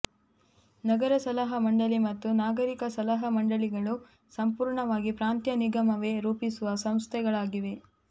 ನಗರ ಸಲಹಾ ಮಂಡಳಿ ಮತ್ತು ನಾಗರಿಕ ಸಲಹಾ ಮಂಡಳಿಗಳು ಸಂಪೂರ್ಣವಾಗಿ ಪ್ರಾಂತ್ಯ ನಿಗಮವೇ ರೂಪಿಸುವ ಸಂಸ್ಥೆಗಳಾಗಿವೆ